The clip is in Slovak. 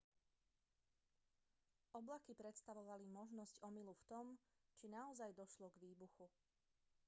oblaky predstavovali možnosť omylu v tom či naozaj došlo k výbuchu